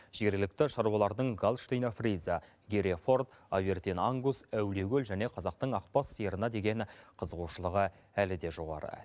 жергілікті шаруалардың галштина фриза гере форд авердин ангус әулиекөл және қазақтың ақбас сиырына деген қызығушылығы әлі де жоғары